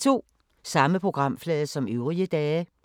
Samme programflade som øvrige dage